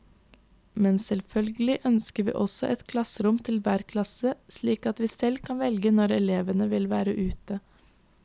Men selvfølgelig ønsker vi oss et klasserom til hver klasse, slik at vi selv kan velge når elevene vil være ute.